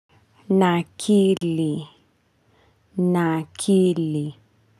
Nakili, nakili.